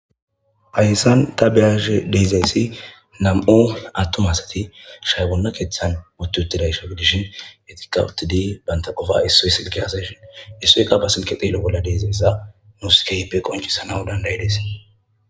hayssan ta beyashe deezayssi nam7o attom asati shaybonna keeththan botuutida sha gidishin etiqa utidi banta qofa isso y silgeasa shin issuyqa ba sinke xeelo bolla dezayssa nuuskeype qoncisana dandayi des